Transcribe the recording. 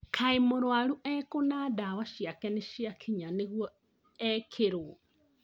Kai mũrwaru ekũ na dawa ciake nĩciakinya nĩguo ekĩrwo ?